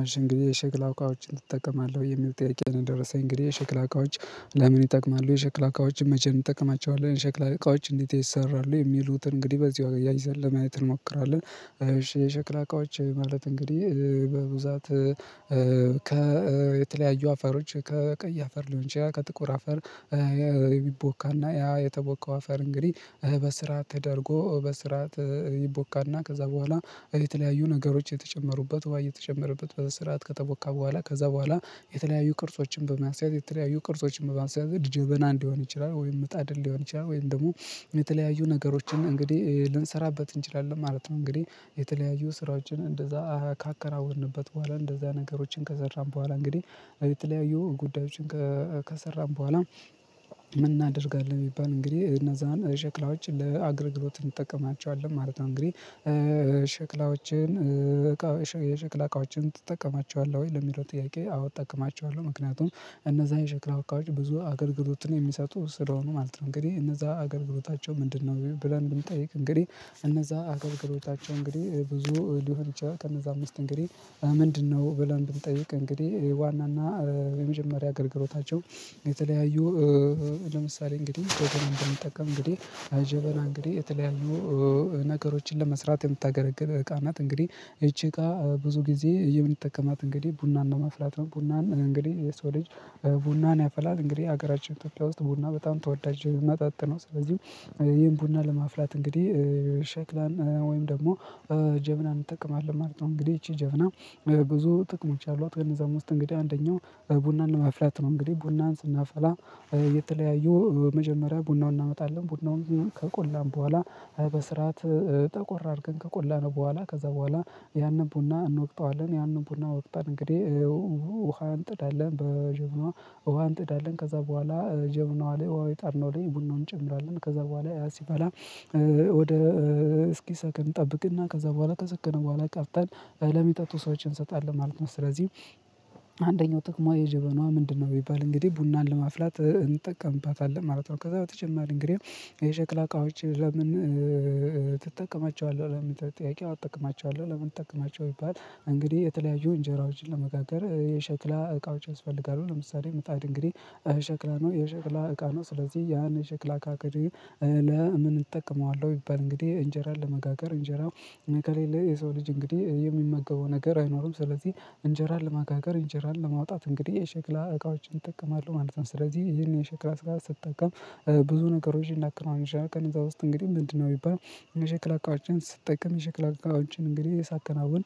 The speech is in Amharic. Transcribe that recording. አሺ እንግዲህ የሸክላ እቃዎችን ትጠቀማለህ የሚል ጥያቄ ነው። የደረሰኝ እንግዲህ የሸክላ እቃዎች ለምን ይጠቅማሉ የሸክላ እቃዎችን መቼም እንጠቀማቸዋለን የሸክላ እቃዎች እንዴት ይሰራሉ የሚሉትን እንግዲህ በዚው አያይዘን ለማየት እንሞክራለን። የሸክላ እቃዎች ማለት እንግዲህ በብዛት ከየተለያዩ አፈሮች ከቀይ አፈር ሊሆን ይችላል። ከጥቁር አፈር። ይቦካና ያ የተቦከው አፈር እንግዲህ በስርዓት ተደርጎ በስራ ይቦካና ከዛ በኋላ የተለያዩ ነገሮች እየተጨመሩበት ውሃ እየተጨመረበት በስርዓት ከተቦካ በኋላ ከዛ በኋላ የተለያዩ ቅርጾችን በማስያዝ የተለያዩ ቅርጾችን በማስያዝ ጀበና እንዲሆን ይችላል ወይም ምጣድ ሊሆን ይችላል ወይም ደግሞ የተለያዩ ነገሮችን እንግዲህ ልንሰራበት እንችላለን ማለት ነው። እንግዲህ የተለያዩ ስራዎችን እንደዛ ካከናወንበት በኋላ እንደዛ ነገሮችን ከሰራን በኋላ እንግዲህ የተለያዩ ጉዳዮችን ከሰራን በኋላ ምን እናደርጋለን የሚባል እንግዲህ እነዛን ሸክላዎች ለአገልግሎት እንጠቀማቸዋለን ማለት ነው። እንግዲህ ሸክላዎችን የሽክላ እቃዎችን ትጠቀማቸዋለህ ወይ ለሚለው ጥያቄ አዎ እጠቀማቸዋለሁ ምክንያቱም እነዛ የሸክላ እቃዎች ብዙ አገልግሎት ነው የሚሰጡት ስለሆኑ ማለት ነው። እንግዲህ እነዛ አገልግሎታቸው ምንድነው ብለን ብንጠይቅ እንግዲህ እነዛ አገልግሎታቸው እንግዲህ ብዙ ሊሆን ይችላል ከነዛም ውስጥ እንግዲህ ምንድነው ብለን ብንጠይቅ እንግዲህ ዋናና የመጀመሪያ አገልግሎታቸው። የተለያዩ ለምሳሌ እንግዲህ ደግሞ እንደምጠቀም እንግዲህ ጀበና እንግዲህ የተለያዩ ነገሮችን ለመስራት የምታገለግል እቃ ናት። እንግዲህ ይቺ እቃ ብዙ ጊዜ የምንጠቀማት እንግዲህ ቡና ለማፍላት ነው ቡናን እንግዲህ የሰው ልጅ ቡናን ያፈላል እንግዲህ ሀገራችን ኢትዮጵያ ውስጥ ቡና በጣም ተወዳጅ መጠጥ ነው። ስለዚህም ይሄን ቡና ለማፍላት እንግዲህ ሸክላ ወይም ደግሞ ጀበና እንጠቀማለን ማለት ነው። እንግዲህ ይቺ ጀበና ብዙ ጥቅሞች አሏት ከነዛም ውስጥ እንግዲህ አንደኛው ቡናንን ማፍላት ነው። እንግዲህ ቡናን ስናፈላ የተለያዩ መጀመሪያ ቡናውን እናመጣለን ቡናውን ከቆላን በኋላ በስርዓት ጠቆር አርገን ከቆላነው በኋላ ከዛ በኋላ ያንን ቡና እንወቅጠዋለን ያንን ቡና ወቅጠን እንግዲህ ውሃ እንጥዳለን በጀበና ውሃ እንጥዳለን ከዛ በኋላ ጀበናዋ ላይ ውሃው የጣድነው ላይ ቡናውን እንጨምራለን ከዛ በኋላ ያ ሲፈላ ወደ እስኪ ሰክን እንጠብቅና ከዛ በኋላ ከሰከነ በኋላ ቀድተን ለሚጠጡ ሰዎች እንሰጣለን ማለት ነው። ስለዚህ ጥቅሟ የጀበናዋ ምንድነው ቢባል እንግዲህ ቡናን ለማፍላት እንጠቀምባታለን ማለት ነው። ከዛ በተጨማሪ እንግዲህ የሸክላ እቃዎች ለምን ትጠቀማቸዋለሁ ለሚለው ጥያቄ አዎ እጠቀማቸዋለው ለምን ትጠቀማቸዋለህ ቢባል እንግዲህ የተለያዩ እንጀራዎችን ለመጋገር የሸክላ እቃዎች ያስፈልጋሉ። ለምሳሌ ምጣድ እንግዲህ ሸክላ ነው የሸክላ እቃ ነው። ስለዚህ ያን የሸክላ አካባቢ ለምን እጠቅመዋለሁ ቢባል እንግዲህ እንጀራን ለመጋገር እንጀራው ከሌለ የሰው ልጅ እንግዲህ የሚመገበው ነገር አይኖርም ስለዚህ እንጀራን ለመጋገር እንጀራን ለማውጣት እንግዲህ የሸክላ እቃዎችን እጠቀማለሁ ማለት ነው። ስለዚህ ይህን የሸክላ ስራ ስጠቀም ብዙ ነገሮች ይላክነዋል አንደኛ ቀን እዛ ውስጥ እንግዲህ ምንድነው ቢባል የሸክላ እቃዎችን ስጠቀም እቃዎችን እንግዲህ ሳከናውን